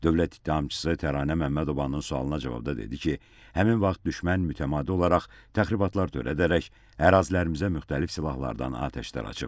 Dövlət ittihamçısı Təranə Məmmədovanın sualına cavabda dedi ki, həmin vaxt düşmən mütəmadi olaraq təxribatlar törədərək ərazilərimizə müxtərib silahlardan atəş açıb.